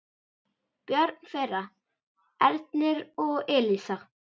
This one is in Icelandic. Börn þeirra: Ernir og Elísa.